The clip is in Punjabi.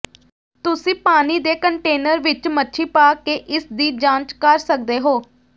ਤੁਸੀਂ ਪਾਣੀ ਦੇ ਕੰਟੇਨਰ ਵਿਚ ਮੱਛੀ ਪਾ ਕੇ ਇਸ ਦੀ ਜਾਂਚ ਕਰ ਸਕਦੇ ਹੋ